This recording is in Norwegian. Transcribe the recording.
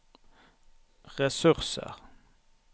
ressurser